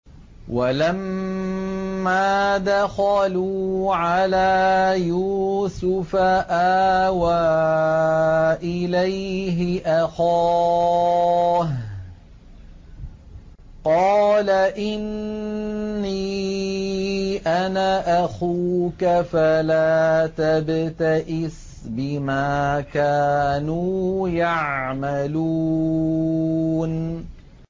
وَلَمَّا دَخَلُوا عَلَىٰ يُوسُفَ آوَىٰ إِلَيْهِ أَخَاهُ ۖ قَالَ إِنِّي أَنَا أَخُوكَ فَلَا تَبْتَئِسْ بِمَا كَانُوا يَعْمَلُونَ